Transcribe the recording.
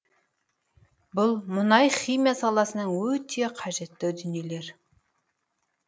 бұл мұнай химия саласына өте қажетті дүниелер